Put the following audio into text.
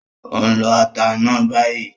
Ó ń lọ ata náà bayìí